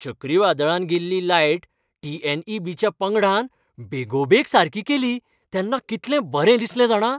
चक्रीवादळान गेल्ली लायट टी.एन.ई.बी.च्या पंगडान बेगोबेग सारकी केली तेन्ना कितलें बरें दिसलें जाणा.